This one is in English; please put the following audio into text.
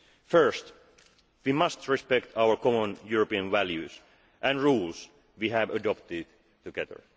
First, we must respect our common European values and the rules we have adopted together.